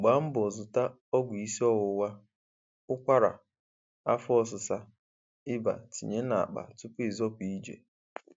Gbaa mbọ zụta ọgwụ isiọwụwa, ụkwara, afọ ọsịsa, iba tinye n'akpa tupu ịzọpụ ije